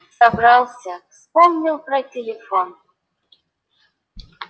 собрался вспомнил про телефон